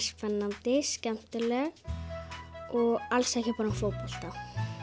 spennandi skemmtileg og alls ekki bara um fótbolta